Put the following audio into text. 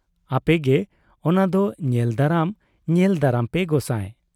ᱟᱯᱮᱜᱮ ᱚᱱᱟ ᱫᱚ ᱧᱮᱞ ᱫᱟᱨᱟᱢ ᱧᱮᱞ ᱫᱟᱨᱟᱢ ᱯᱮ ᱜᱚᱸᱥᱟᱭ ᱾